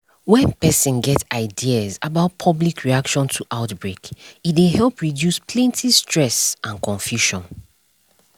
when person get ideas about public reaction to outbreak e dey help reduce plenty stress and confusion